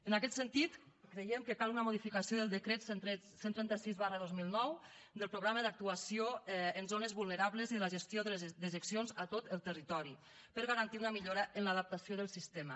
en aquest sentit creiem que cal una modificació del decret cent i trenta sis dos mil nou del programa d’actuació en zones vulnerables i de la gestió de les dejeccions a tot el territori per garantir una millora en l’adaptació del sistema